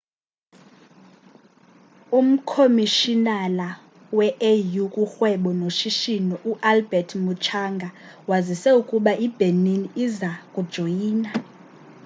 umkhomishinala we-au kurhwebo noshishino u-albert muchanga wazise ukuba ibenin iza kujoyina